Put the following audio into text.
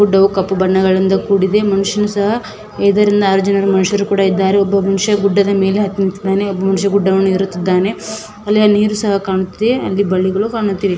ಗುಡ್ಡವು ಕಪ್ಪು ಬಣ್ಣದಿಂದ ಕೂಡಿದೆ ಮನುಷ್ಯನು ಸಹ ಆರು ಜನ ಇದ್ದು ಒಬ್ಬ ಮನುಷ್ಯ ಗುಡ್ಡವನ್ನು ಹತ್ತಿದ್ದಾನೆ ಒಬ್ಬ ಮನುಷ್ಯ ಗುಡ್ಡ ಏರುತ್ತಿದ್ದಾನೆ ಅಲ್ಲಿ ನೀರು ಸಹ ಕಾಣುತ್ತಿದೆ ಬಳ್ಳಿಗಳು ಸಹ ಕಾಣುತ್ತಿದೆ.